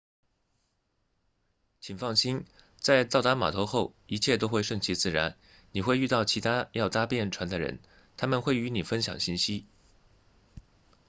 请放心在到达码头后一切都会顺其自然你会遇到其他要搭便船的人他们会与你分享信息